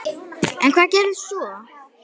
En hvað gerist svo?